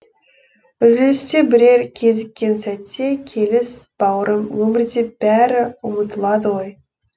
үзілісте бірер кезіккен сәтте келіс бауырым өмірде бәрі ұмытылады ғой